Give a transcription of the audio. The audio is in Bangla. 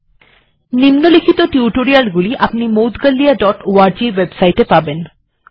এই নিম্নলিখিত টিউটোরিয়ালগুলি আপনি moudgalyaঅর্গ ওয়েবসাইট এ পাবেন